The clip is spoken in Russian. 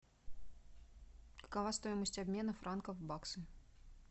какова стоимость обмена франков в баксы